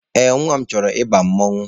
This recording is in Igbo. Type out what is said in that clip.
Ee, nwa m chọrọ ịba mmanwụ.